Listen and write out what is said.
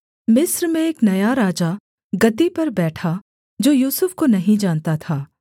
मिस्र में एक नया राजा गद्दी पर बैठा जो यूसुफ को नहीं जानता था